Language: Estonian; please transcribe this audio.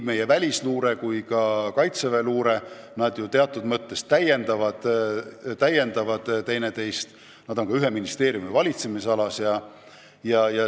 Meie välisluure ja Kaitseväe luure teatud mõttes täiendavad teineteist, nad on ka ühe ministeeriumi valitsemisalas.